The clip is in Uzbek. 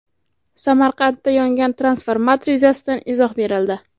Samarqandda yongan transformator yuzasidan izoh berildi.